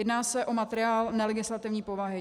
Jedná se o materiál nelegislativní povahy.